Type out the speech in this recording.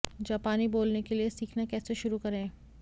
जापानी बोलने के लिए सीखना कैसे शुरू करें